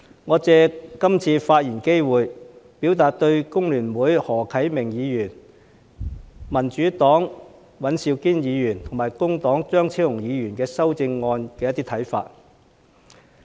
我想借這次發言機會表達我對工聯會的何啟明議員、民主黨的尹兆堅議員，以及工黨的張超雄議員的修正案的一些看法。